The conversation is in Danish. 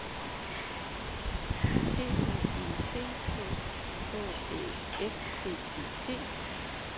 C H E C K H Æ F T E T